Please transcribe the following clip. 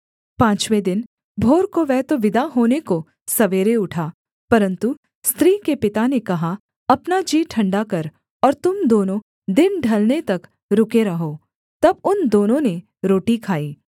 पाँचवें दिन भोर को वह तो विदा होने को सवेरे उठा परन्तु स्त्री के पिता ने कहा अपना जी ठण्डा कर और तुम दोनों दिन ढलने तक रुके रहो तब उन दोनों ने रोटी खाई